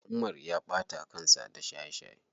Umar ya ɓata kansa da shaye shaye.